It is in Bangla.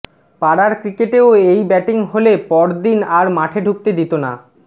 পাড়ার ক্রিকেটেও এই ব্যাটিং হলে পর দিন আর মাঠে ঢুকতে দিত না